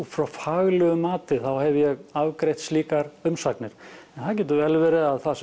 frá faglegu mati þá hef ég afgreitt slíkar umsagnir það getur vel verið að það